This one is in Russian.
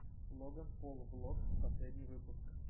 логан пол влогс последний выпуск